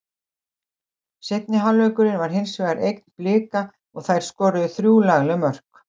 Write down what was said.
Seinni hálfleikurinn var hinsvegar eign Blika og þær skoruðu þrjú lagleg mörk.